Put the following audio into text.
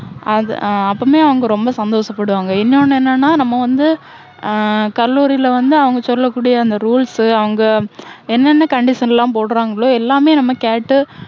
அது ஆஹ் அப்போவுமே அவங்க ரொம்ப சந்தோஷப்படுவாங்க. இன்னொண்ணு என்னென்னா, நம்ம வந்து, ஆஹ் கல்லூரில வந்து, அவங்க சொல்லக் கூடிய அந்த rules சு அவங்க என்னென்ன condition லாம் போடுறாங்களோ, எல்லாமே நம்ம கேட்டு,